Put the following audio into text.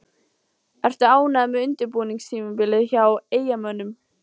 Ertu ánægður með undirbúningstímabilið hjá Eyjamönnum?